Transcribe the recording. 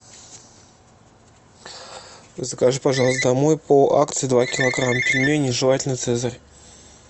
закажи пожалуйста домой по акции два килограмма пельменей желательно цезарь